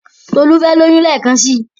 Tolu fẹ lóyún lekansi